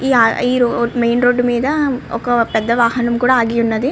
ఈ ఆ ఈ రోడ్ మెయిన్ రోడ్డు మీద ఒక పెద్ద వాహనం కూడా ఆగి ఉన్నది.